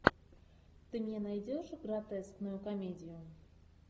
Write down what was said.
ты мне найдешь гротескную комедию